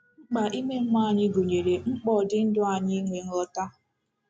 Mkpa ime mmụọ anyị gụnyere mkpa ọ dị ndụ anyị inwe nghọta.